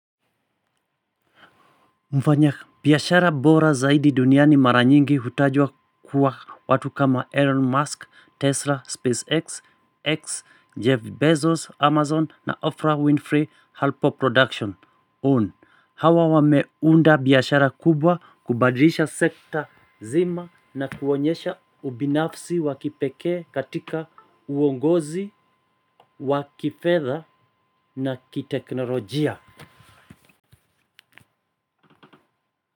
Mfanya biashara bora zaidi duniani maranyingi hutajwa kuwa watu kama Elon Musk, Tesla, SpaceX, X, Jeff Bezos, Amazon na Afra Winfrey Alpo Production Own. Hawa wameunda biashara kubwa kubadilisha sekta nzima na kuonyesha ubinafsi wakipekee katika uongozi, wakifedha na kiteknolojia.